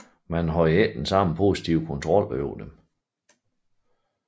Man havde ikke den samme positive kontrol over dem